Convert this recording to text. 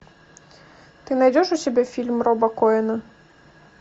ты найдешь у себя фильм роба коэна